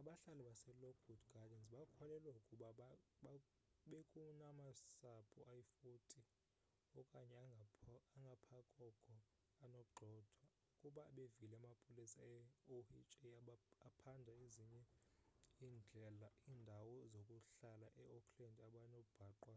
abahlali baselockwood gardens bakholelwa ukuba bekunamasapho ayi-40 okanye angaphakoko anogxothwa ukuba bevile amapolisa e-oha aphanda ezinye iindawo zokuhlala e-oakland abanobhaqwa